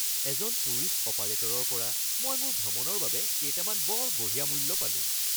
এজন টুৰিষ্ট অপাৰেটৰৰ পৰা মই মোৰ ভ্ৰমণৰ বাবে কেইটামান বৰ বঢ়িয়া মূল্য পালোঁ